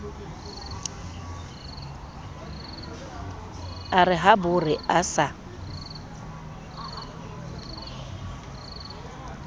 a re habore a sa